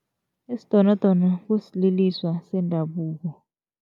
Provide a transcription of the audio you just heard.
Isidonodono kusililiswa sendabuko.